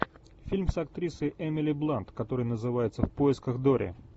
фильм с актрисой эмили блант который называется в поисках дори